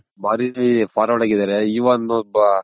ಭಾರಿ Forward ಆಗಿದಾರೆ ಇವನ ಒಬ್ಬ ಒಬ್ಬ